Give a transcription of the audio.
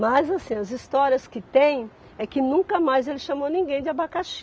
Mas assim as histórias que tem é que nunca mais ele chamou ninguém de abacaxi.